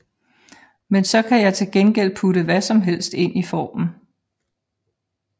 Men så kan jeg til gengæld putte hvad som helst ind i formen